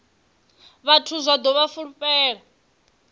vhathu zwa ḓo vha fulufhela